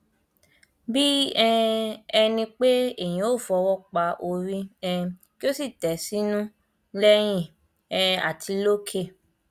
nítorí tó ń jáde pẹlú ọrẹkùnrin miin fatai àtàwọn ọrẹ ẹ lu ọrẹbìnrin rẹ lálùbami ní kwara